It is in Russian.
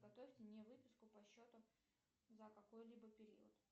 подготовьте мне выписку по счету за какой либо период